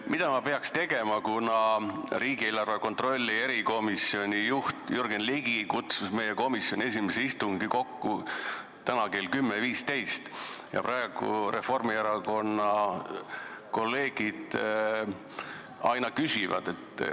Mida ma peaks tegema, kui riigieelarve kontrolli erikomisjoni juht Jürgen Ligi kutsus meie komisjoni esimese istungi kokku täna kell 10.15, aga praegu Reformierakonna kolleegid aina küsivad?